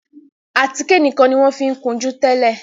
Àtíkè nìkàn ní wón fí kunjú tẹlẹ.